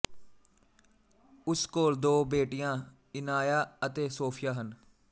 ਉਸ ਕੋਲ ਦੋ ਬੇਟੀਆਂ ਇਨਾਇਆ ਅਤੇ ਸੋਫੀਆ ਹਨ